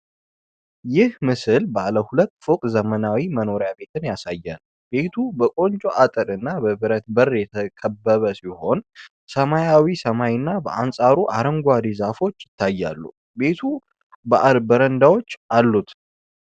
ይህ ምስል ባለ ሁለት ፎቅ ዘመናዊ መኖሪያ ቤት ያሳያል። ቤቱ በቆንጆ አጥር እና በብረት በር የተከበበ ሲሆን፥ ሰማያዊ ሰማይና በአንጻሩ አረንጓዴ ዛፎች ይታያሉ። ቤቱ በረንዳዎች አሉት።